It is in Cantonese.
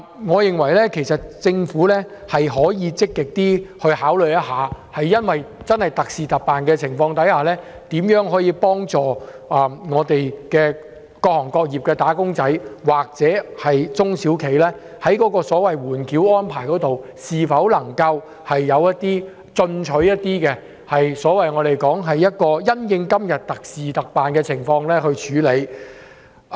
我認為政府可以積極考慮特事特辦，研究如何幫助各行各業的"打工仔"及中小企，例如在緩繳稅項方面採取更進取的措施，因應目前的狀況以特事特辦的方式來處理。